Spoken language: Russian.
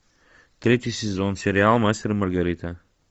третий сезон сериал мастер и маргарита